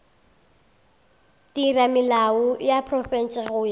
theramelao ya profense go ya